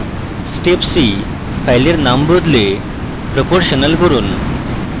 stepc file নাম বদলে proportional করুন